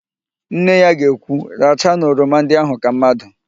Nne ya ga ekwu, rachanu oroma ndị ahụ ka mmadụ"!